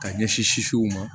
Ka ɲɛsin sisiw ma